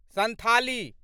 Santhali